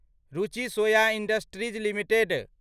रुचि soya industries limited